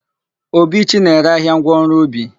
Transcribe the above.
Obichi na-ere ahịa ngwaọrụ ubi.